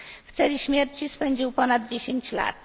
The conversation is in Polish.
W celi śmierci spędził ponad 10 lat.